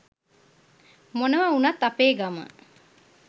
මොනව උනත් අපේ ගම